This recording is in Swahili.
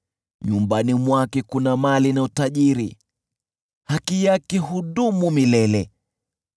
Nyumbani mwake kuna mali na utajiri, haki yake hudumu milele.